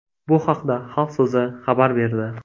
Bu haqda Xalq so‘zi xabar berdi .